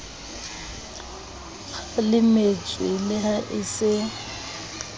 kgalemetswe le ha e se